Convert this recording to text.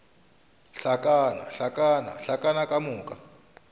hlakana hlakana hlakana ka moka